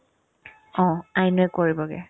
হ, আইনোয়ে কৰিবগে